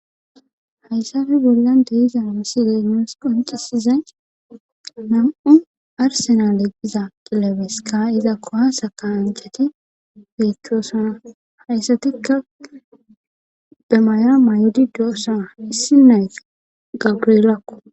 hayssafi gillande iza a side moos qonxisize nam7u arsena leqiza qilabeska iza kohasa ka anchati feechchoosana hayssatikka be mayra may7odi doosaa issineys gabrilakko